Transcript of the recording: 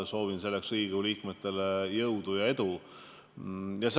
Soovin selleks Riigikokgu liikmetele jõudu ja edu!